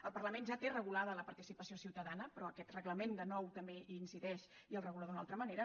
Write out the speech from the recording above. el parlament ja té regulada la participació ciutadana però aquest reglament de nou també hi incideix i el regula d’una altra manera